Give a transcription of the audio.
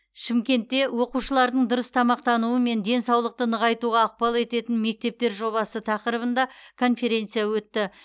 шымкентте оқушылардың дұрыс тамақтануы мен денсаулықты нығайтуға ықпал ететін мектептер жобасы тақырыбында конференция өтті